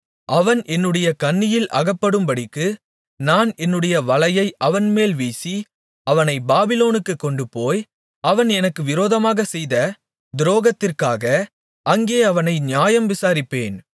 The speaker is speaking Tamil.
அவன் என்னுடைய கண்ணியில் அகப்படும்படிக்கு நான் என்னுடைய வலையை அவன்மேல் வீசி அவனைப் பாபிலோனுக்குக் கொண்டுபோய் அவன் எனக்கு விரோதமாகச்செய்த துரோகத்திற்காக அங்கே அவனை நியாயம் விசாரிப்பேன்